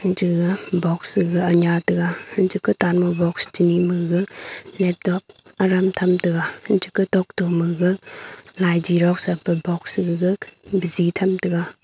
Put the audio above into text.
chega box sega anya tega hanchege tan me box che ni magaga Laptop aram tham tega hanche ke tok to maga lai xerox e pe box sega bisi tham tega.